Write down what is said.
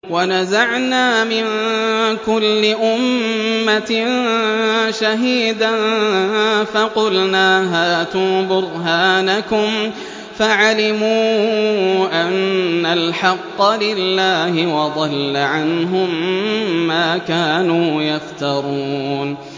وَنَزَعْنَا مِن كُلِّ أُمَّةٍ شَهِيدًا فَقُلْنَا هَاتُوا بُرْهَانَكُمْ فَعَلِمُوا أَنَّ الْحَقَّ لِلَّهِ وَضَلَّ عَنْهُم مَّا كَانُوا يَفْتَرُونَ